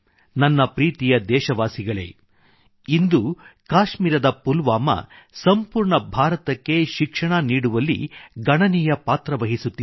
ನನ್ನ ಪ್ರೀತಿಯ ದೇಶವಾಸಿಗಳೇ ಇಂದು ಕಾಶ್ಮೀರದ ಪುಲ್ವಾಮಾ ಸಂಪೂರ್ಣ ಭಾರತಕ್ಕೆ ಶಿಕ್ಷಣ ನೀಡುವಲ್ಲಿ ಗಣನೀಯ ಪಾತ್ರ ವಹಿಸುತ್ತಿದೆ